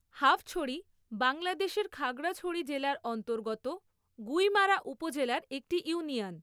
হাফছড়ি বাংলাদেশের খাগড়াছড়ি জেলার অন্তর্গত গুইমারা উপজেলার একটি ইউনিয়ন।